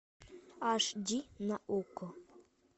аш ди на окко